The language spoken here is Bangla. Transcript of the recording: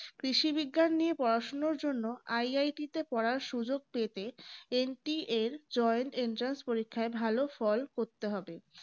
কৃষিবিজ্ঞান নিয়ে পড়ার জন্য IIT তে পড়ার সুযোগ পেতে NTAjointentrance পরীক্ষায় ভালো ফল করতে হবে